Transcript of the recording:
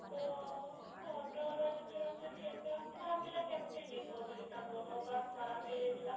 ତ ସେ auto ଵାଲା ସିଏ ପୁରା ଭାବିଲା କେମିତି ଯିବ ବୋଲି ତା ଗୋଡ ପୁରା ଖରାପ ହେଇ ଯାଇଥିଲା